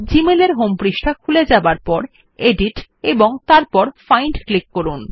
Gmail এর home পৃষ্ঠা খুলে যাবার পর এডিট এবং তারপর ফাইন্ড ক্লিক করুন